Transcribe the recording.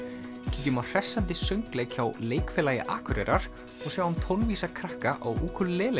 kíkjum á hressandi söngleik hjá Leikfélagi Akureyrar og sjáum krakka á